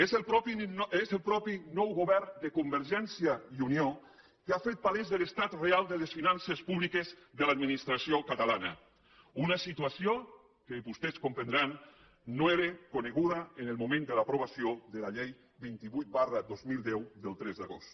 és el mateix nou govern de convergència i unió que ha fet palès l’estat real de les finances públiques de l’administració catalana una situació que vostès comprendran no era coneguda en el moment de l’aprovació de la llei vint vuit dos mil deu del tres d’agost